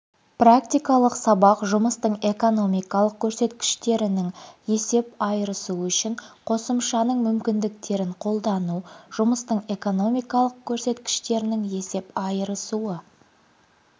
практикалық сабақ жұмыстың экономикалық көрсеткіштерінің есеп айырысуы үшін қосымшасының мүмкіндіктерін қолдану жұмыстың экономикалық көрсеткіштерінің есеп айырысуы